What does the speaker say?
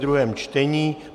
druhé čtení